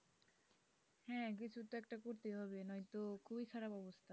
হ্যাঁ কিছু তো একটা করতেই হবে নয়তো খুবই খারাপ অবস্থা।